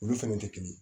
Olu fɛnɛ tɛ kelen ye